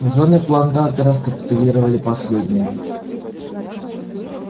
жены плантаторов капитулировали последними